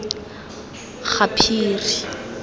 gaphiri